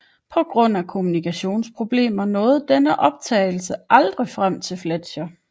På grund af kommunikationsproblemer nåede denne opdagelse aldrig frem til Fletcher